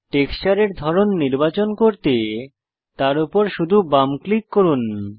টেক্সচারের ধরন নির্বাচন করতে তার উপর শুধু বাম ক্লিক করুন